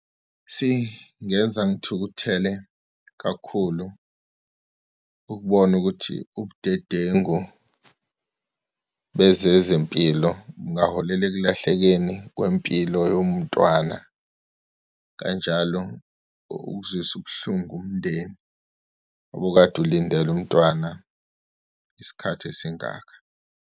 Singenza ngithukuthele kakhulu ukubona ukuthi ubudedengu bezezempilo kungaholela ekulahlekeni kwempilo yomntwana. Kanjalo ukuzwisa ubuhlungu umndeni, obukade ulindele umntwana isikhathi esingaka.